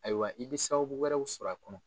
Ayiwa i bɛ sababu wɛrɛw sɔrɔ a kɔnɔ.